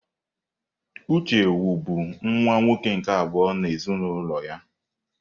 Uche wu bụ nwa nwoke nke abụọ n'ezinụlọ ya.